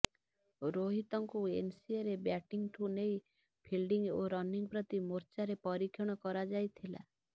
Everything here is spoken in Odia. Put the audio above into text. ରୋହିତଙ୍କୁ ଏନସିଏରେ ବ୍ୟାଟିଂଠୁ ନେଇ ଫିଲ୍ଡିଂ ଓ ରନିଂ ପ୍ରତି ମୋର୍ଚ୍ଚାରେ ପରୀକ୍ଷଣ କରାଯାଇଥିଲା